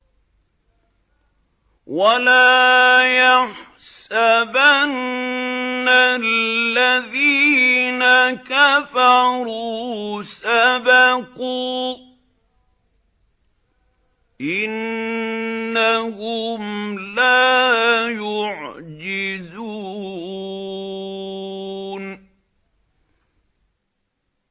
وَلَا يَحْسَبَنَّ الَّذِينَ كَفَرُوا سَبَقُوا ۚ إِنَّهُمْ لَا يُعْجِزُونَ